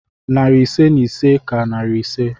Narị ise na ise ka narị ise.